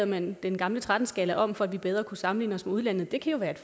man den gamle tretten skala om for at vi bedre kunne sammenligne os med udlandet det kan være et